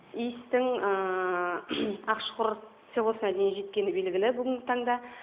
иістің ақшұқұр селосына дейін жеткені белгілі бүгін таңда